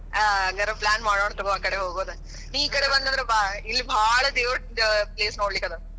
ಆ ಹಂಗರ plan ಮಾಡೋಣಂತೆ ತಗೋ ಆ ಕಡೆ ಹೋಗೋದ. ನೀ ಈ ಕಡೆ ಬಂದ್ದಂದ್ರೆ ಬಾ. ಇಲ್ಲಿ ಭಾಳ ದೇವರದ place ನೋಡಲಿಕ್ ಅದ.